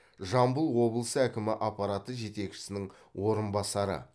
жамбыл облысы әкімі аппараты жетекшісінің орынбасары